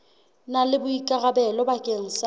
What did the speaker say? na le boikarabelo bakeng sa